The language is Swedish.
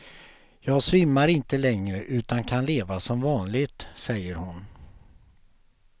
Jag svimmar inte längre utan kan leva som vanligt, säger hon.